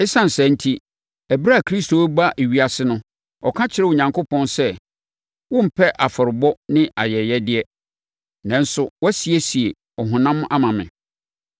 Esiane saa enti, ɛberɛ a Kristo rebɛba ewiase no, ɔka kyerɛɛ Onyankopɔn sɛ: “Wommpɛ afɔrebɔ ne ayɛyɛdeɛ nanso woasiesie ɔhonam ama me.